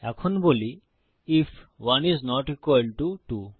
এখন বলি if 1 is not equal to 2